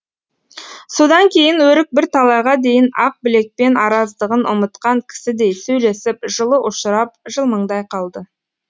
содан кейін өрік бір талайға дейін ақбілекпен араздығын ұмытқан кісідей сөйлесіп жылы ұшырап жылмыңдай қалды